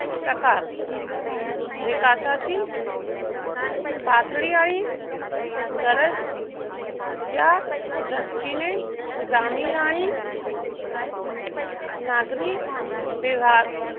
प्रकार विकासाची पातळी आणि गरज या दृष्टीने ग्रामीण आणि नागरिक